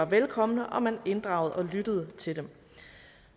velkomne og man inddrager og lytter til dem